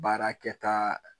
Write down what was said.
Baarakɛ taa